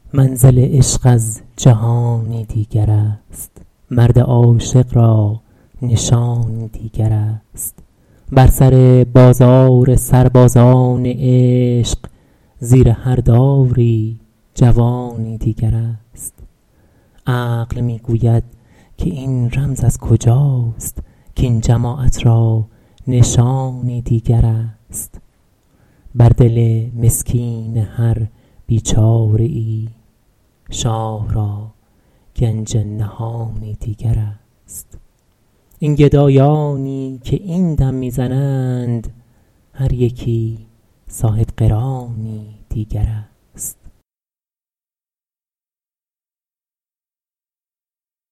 منزل عشق از جهانی دیگر است مرد عاشق را نشانی دیگر است بر سر بازار سربازان عشق زیر هر داری جوانی دیگر است عقل می گوید که این رمز از کجاست کاین جماعت را نشانی دیگر است بر دل مسکین هر بیچاره ای شاه را گنج نهانی دیگر است این گدایانی که این دم می زنند هر یکی صاحبقرانی دیگر است